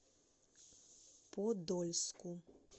подольску